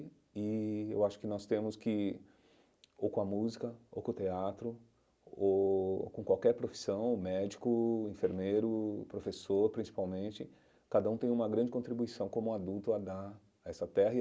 E eu acho que nós temos que, ou com a música, ou com o teatro, ou com qualquer profissão, médico, enfermeiro, professor, principalmente, cada um tem uma grande contribuição como adulto a dar a essa terra.